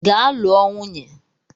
Gaa lụọ nwunye!